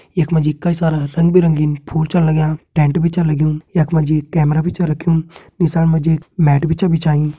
यख मा जी कई सारा रंग बिरंगी फूल छन लग्यां टेंट भी छ लग्युं यख मा जी कैमरा भी छ रख्युं नीसाण मा जी एक मैट भी छ बिछाईं।